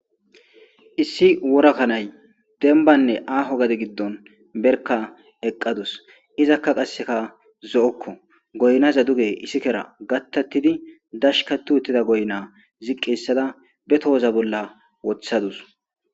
issi worakanay denbanne aaho gadi giddon berka eqqadus izakka qasseka zo7okko goynaza duge issikera gattattidi dashka tu uttida goyna ziqqeyssada be tohoza bolla wothadus